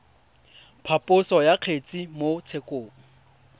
phaposo ya kgetse mo tshekong